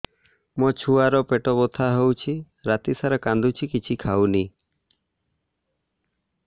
ମୋ ଛୁଆ ର ପେଟ ବଥା ହଉଚି ରାତିସାରା କାନ୍ଦୁଚି କିଛି ଖାଉନି